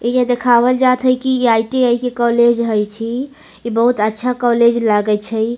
इ देखावल जाएत हेय की आई.टी.आई. के कॉलज हेय छी इ बहुत अच्छा कॉलज लागे छै।